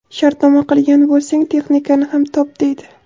Shartnoma qilgan bo‘lsang, texnikani ham top, deydi.